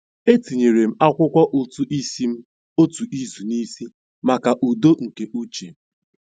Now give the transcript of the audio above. Etinyere m akwụkwọ ụtụ isi m otu izu n'isi maka udo nke uche.